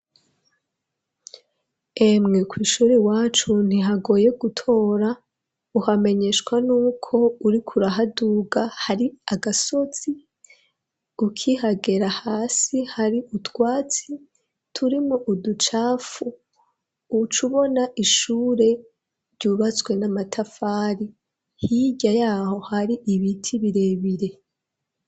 Emwe kw'ishure iwacu ntihagoye gutora uhamenyeshwa nuko uriko urahaduga hari agasozi ukihagera hasi hari utwatsi turimwo uducafu ucubona ishure ryubatswe n'amatafari hirya yaho hari ibiti birebire